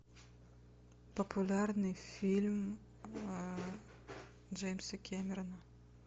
популярный фильм джеймса кэмерона